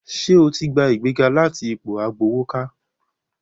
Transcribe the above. Sẹ́ o ti ní ìgbéga láti ipò agbowókà?